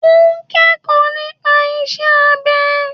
O n kẹ́kọ̀ọ́ nípa isẹ́ abẹ.